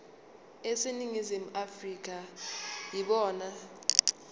aseningizimu afrika yibona